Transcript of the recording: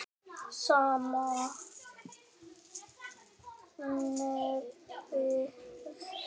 Sama nefið.